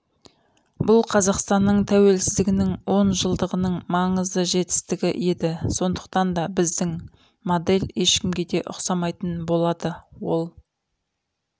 бұл қазақстанның тәуелсіздігінің он жылдығының маңызды жетістігі еді сондықтанда біздің модель ешкімге де ұқсамайтын болады ол